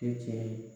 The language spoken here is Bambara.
Tɛ tiɲɛ ye